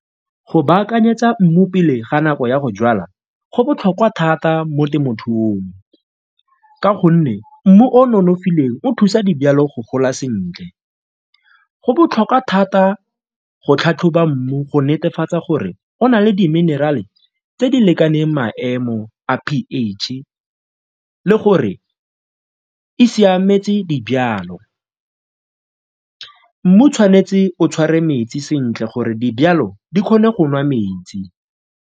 Go baakanyetsa mmu pele ga nako ya go jwala go botlhokwa thata mo temothuong ka gonne mmu o o nonofileng o thusa dijalo go gola sentle. Go botlhokwa thata go tlhatlhoba mmu go netefatsa gore go na le di-mineral-e tse di lekaneng maemo a p_H e le gore e siametse dijalo. Mmu tshwanetse o tshware metsi sentle gore dijalo di kgone go nwa metsi.